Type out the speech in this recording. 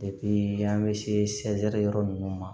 an bɛ se yɔrɔ ninnu ma